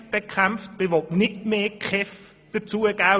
Man will nicht mehr für die KEV ausgeben.